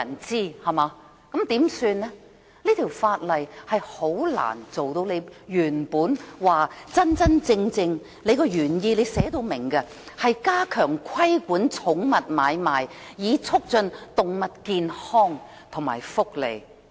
這項修訂規例難以達到局方的原意，即加強規管寵物買賣，以促進動物健康和福利。